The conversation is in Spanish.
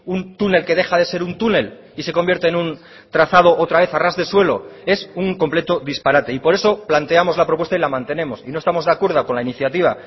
un túnel que deja de ser un túnel y se convierte en un trazado otra vez a ras de suelo es un completo disparate y por eso planteamos la propuesta y la mantenemos y no estamos de acuerdo con la iniciativa